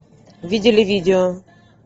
видели видео